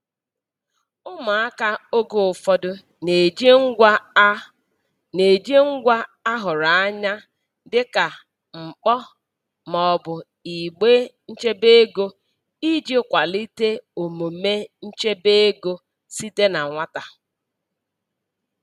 Ụmụaka oge ụfọdụ na-eji ngwa a na-eji ngwa a hụrụ anya dịka mkpọ ma ọ bụ igbe nchebe ego iji kwalite omume nchebe ego site na nwata.